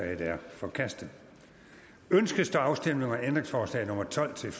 er forkastet ønskes der afstemning om ændringsforslag nummer tolv til